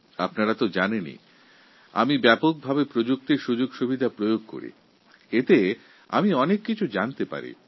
আপনারা তো জানেন আমি প্রযুক্তিকে পুরোদমে ব্যবহার করি এর থেকে আমি অনেক কিছু জানতে পারি